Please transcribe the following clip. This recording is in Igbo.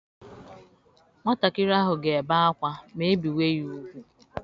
Nwatakịrị ahụ ga-ebe akwa ma e bewa ya ugwu.